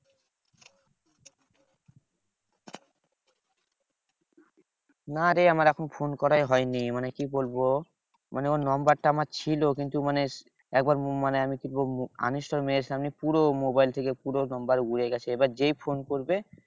না রে আমার এখন ফোন করাই হয়নি। মানে কি বলবো? মানে ওর number টা আমার ছিল কিন্তু মানে একবার পুরো মোবাইল থেকে পুরো number উড়ে গেছে এবার যেই ফোন করবে,